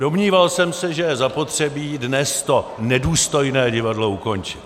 Domníval jsem se, že je zapotřebí dnes to nedůstojné divadlo ukončit.